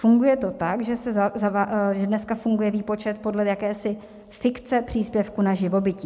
Funguje to tak, že dneska funguje výpočet podle jakési fikce příspěvku na živobytí.